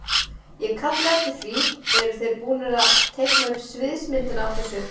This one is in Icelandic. Ég kalla eftir því, eru þeir búnir að teikna upp sviðsmyndina af þessu?